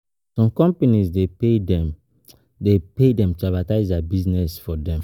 Some companies de pay dem de pay dem to advertise their business for them